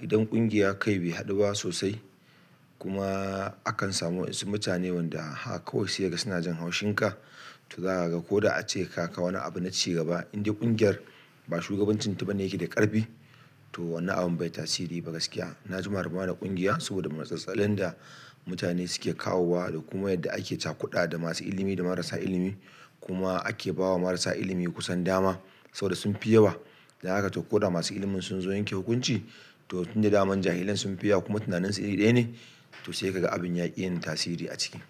Idan ƙungiya kai bai haɗu ba sosai kuma akan samu wasu mutane wanda haka wai sai ga suna jin haushin ka. To zaka ga koda ace ka kawo wani abu naci gaba, indai ƙungiyar ba shugabancin ta bane yake da karfi to wannan abun ba zaiyi tasiri ba gaskiya na jima rabona da ƙungiya saboda matsatsalun da mutane suke kawowa da kuma yadda ake cakuda da masu ilimi da marasa ilimi. Kuma ake bawa marasa ilimi kusan dama, saboda sunfi yawa. Dan haka to ko da masu ilimin sun zo yanke hukunci to tun da daman jahilan sun fi yawa kuma tunanin su iri ɗaya ne to sai ka ga abin ya ƙi yin tasiri a ciki.